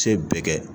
Se bɛɛ kɛ